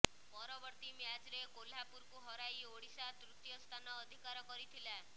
ପରବର୍ତ୍ତୀ ମ୍ୟାଚରେ କୋହ୍ଲାପୁରକୁ ହରାଇ ଓଡିଶା ତୃତୀୟ ସ୍ଥାନ ଅଧିକାର କରିଥିଲା